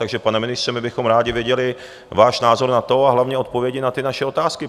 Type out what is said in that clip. Takže pane ministře, my bychom rádi věděli váš názor na to a hlavně odpovědi na ty naše otázky.